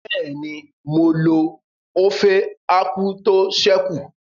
Bẹ́ẹ̀ni, mo lo ófé ákwú tó ṣẹ́ kù